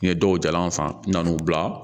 N ye dɔw jalan san n nana n'u bila